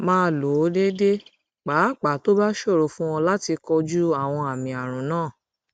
máa lò ó déédéé pàápàá tó bá ṣòro fún ọ láti kojú àwọn àmì àrùn náà